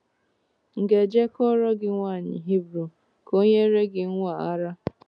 M̀ ga-eje kpọọrọ gị nwaanyị Hibru ka o nyere gị nwa a ara? ’